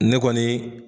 Ne kɔni